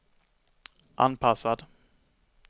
anpassad